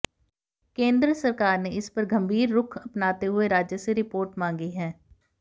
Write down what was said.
केन्द्र सरकार ने इस पर गंभीर रुख अपनाते हुए राज्य से रिपोर्ट मांगी है